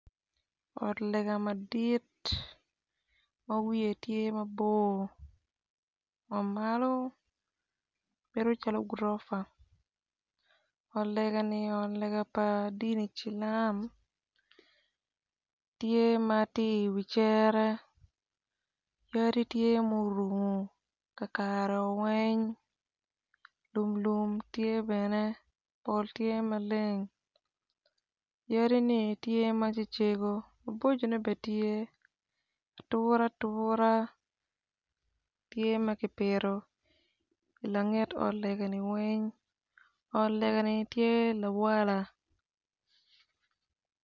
Ot lega madit mawiye tye mabor wamalo bedo cal gurofa ot ni obedo ot lega pa dini cilam, tye matye i wi cere yadi tye ma orungo kakare weng lum lum tye bene pol tye maleng yadi ne tye macecego maboco ne bene tye atura atura tye makipito i langet ot lega ni weng ot lega ni tye lawala.